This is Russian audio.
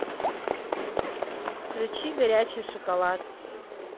включи горячий шоколад